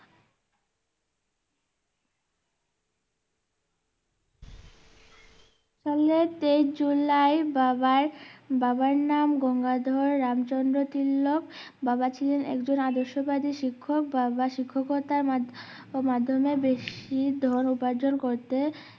সালে তেইশ জুলাই বাবার বাবার নাম গঙ্গাধর রাম চন্দ্র তিলক বাবা ছিলেন একজন আদর্শ বাদি শিক্ষক বাবা শিক্ষকতার মা~মাধ্যমে বেশি ধন উপার্জন করতে